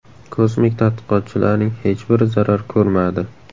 Kosmik tadqiqotchilarning hech biri zarar ko‘rmadi.